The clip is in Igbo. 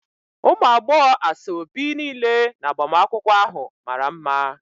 Ụmụ agbọghọ asaobi niile na agbamakwụkwọ ahụ mara mma.